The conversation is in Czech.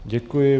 Děkuji.